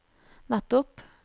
nettopp